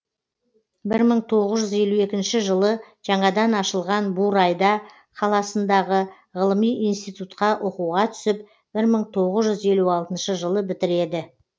бір мың тоғыз жүз елу екінші жылы жаңадан ашылған бурайда қаласындағы ғылыми институтқа оқуға түсіп бір мың тоғыз жүз елу алтыншы жылы бітіреді